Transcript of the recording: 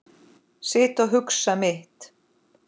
Sit og hugsa mitt.